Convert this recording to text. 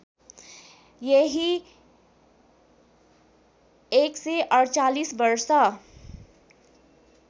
यहि १४८ वर्ष